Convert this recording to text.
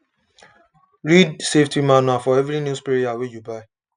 read the safety manual for every new sprayer wey you buy